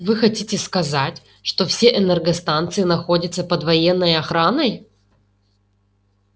вы хотите сказать что все энергостанции находятся под военной охраной